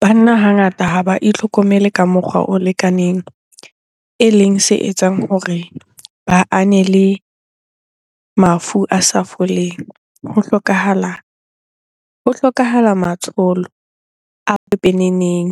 Banna hangata ha ba itlhokomele ka mokgwa o lekaneng, eleng se etsang hore ba ane le mafu a sa foleng. Ho hlokahala matsholo a pepeneneng